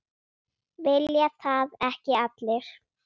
Vilja það ekki allir?